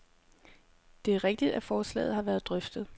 Det er rigtigt, at forslaget har været drøftet.